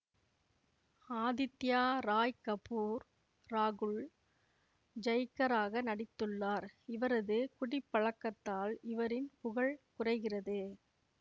ஆதித்யா ராய் கபூர் ராகுல் ஜய்கராக நடித்துள்ளார் இவரது குடிப்பழக்கத்தால் இவரின் புகழ் குறைகிறது